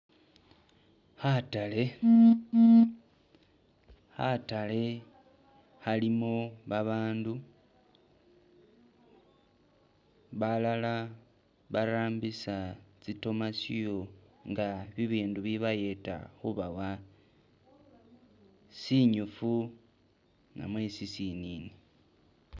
Khatale. Khatale khalimu babandu, balala barambisa tsitomasiyo ngabibindu bibayeta khubawa sinyifu namwe sisinini